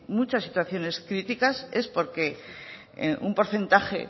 muchas situaciones críticas es porque un porcentaje